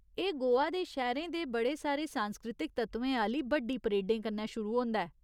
एह् गोवा दे शैह्‌रें च बड़े सारे सांस्कृतिक तत्वें आह्‌ली बड्डी परेडें कन्नै शुरू होंदा ऐ।